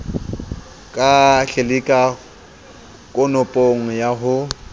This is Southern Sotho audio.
ka tlelika konopong ya ho